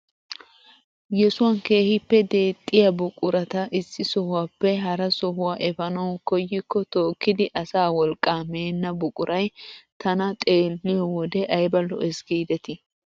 Yeesuwaan keehippe deexxiyaa buqurata issi sohuwappe hara sohuwaa efanawu koyikko tookkidi asaa wolqqaa meenna buquray tana xeelliyoo wode ayba lo"ees gidetii!